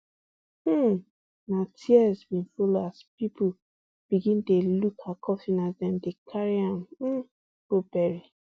um na tears bin follow as pipo begin dey look her coffin as dem dey carry am um go bury